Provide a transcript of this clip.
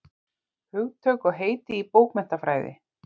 Hugtök og heiti í bókmenntafræði.